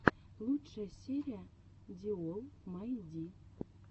лучшая серия ди олл май ди